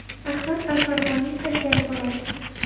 Ahmad al-Farg‘oniy haykali bo‘ladi!